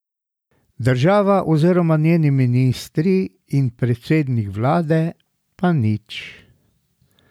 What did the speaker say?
Država oziroma njeni ministri in predsednik vlade pa nič.